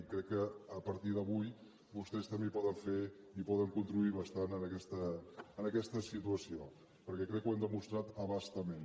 i crec que a partir d’avui vostès també poden fer i poden contribuir bastant a aquesta situació perquè crec que ho hem demostrat a bastament